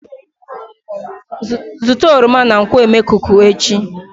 Zụta oroma na nkwo emekuku echi?